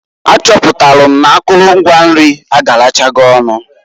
A chọpụtalụ m n'akụlụ ngwa nri agarachogo.